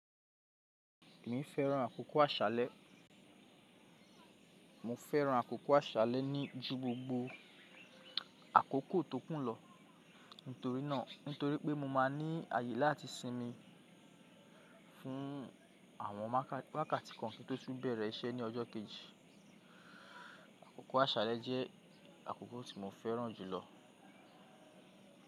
Emi fẹ́ràn àkókò àṣálẹ́, mo fẹ́ràn àkókò àṣálẹ́ ju gbogbo àkókò tókùn lọ, nnítorí pé mo máa ní àyè láti sinmi fún wákàtí kan kí n tó bẹ̀rẹ̀ iṣẹ́ ní ọjọ́ kejì. Àkókò àṣálẹ́ jẹ́ àkókò tí mo fẹ́ràn jùlọ.